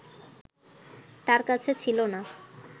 তার কাছে ছিল না